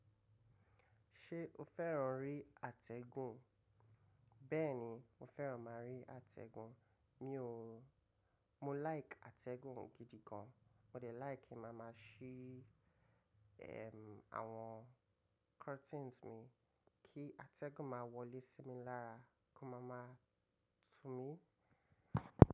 Ṣé o fẹ́ràn rí atẹ́gùn? Bẹ́ẹ̀ni, mo fẹ́ràn máa rí atẹ́gùn mi o. Mo like atẹ́gùn gidi gan. Mo de like máa máa ṣe àwọn curtains mi kí atẹ́gùn máa wọlé sí mi lára kó máa máa tú mi.